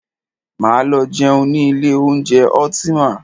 Máa lọ jẹun ní ilé oúnjẹ Ultima.